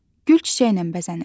Gül çiçəklə bəzənir.